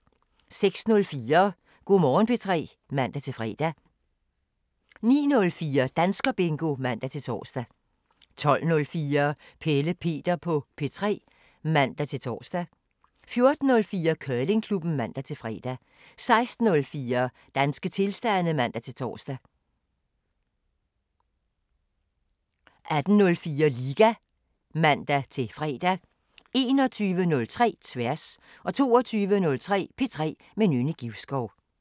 06:04: Go' Morgen P3 (man-fre) 09:04: Danskerbingo (man-tor) 12:04: Pelle Peter på P3 (man-tor) 14:04: Curlingklubben (man-fre) 16:04: Danske tilstande (man-tor) 18:04: Liga (man-fre) 21:03: Tværs 22:03: P3 med Nynne Givskov